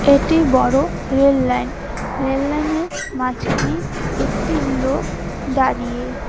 এটি বড় rail line rail line -এর মাঝখানে একটি লোক দাঁড়িয়ে।